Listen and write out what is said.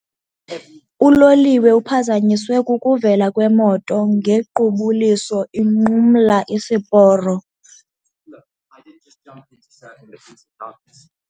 Uloliwe uphazanyiswe kukuvela kwemoto ngequbuliso inqumla isiporo.